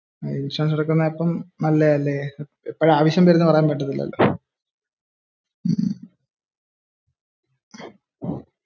Insurance എടുക്കുന്നത് അപ്പോ നല്ലതാ ല്ലേ എപ്പോഴാ ആവശ്യം വരുന്നത് എന്ന പറയാൻ പറ്റൂല.